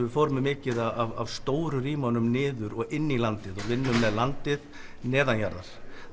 við fórum með mikið af stóru rýmunum niður og inn í landið við vinnum með landið neðanjarðar